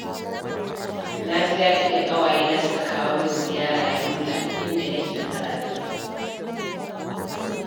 Na ji daɗi da ƙawayena suka kawo min ziyara Yola inda nake karatu